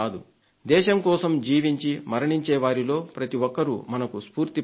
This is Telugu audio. దేశం కోసం జీవించి మరణించే వారిలో ప్రతి ఒక్కరూ మనకు స్ఫూర్తి ప్రదాతలే